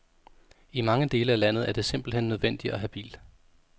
I mange dele af landet er det simpelt hen nødvendigt at have bil.